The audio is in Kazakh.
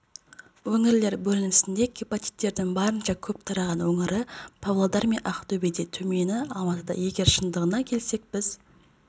өңірлер бөлінісінде гепатиттердің барынша көп тараған өңірі павлодар мен ақтөбеде төмені алматыда егер шындығына келсек біз